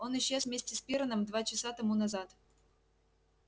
он исчез вместе с пиренном два часа тому назад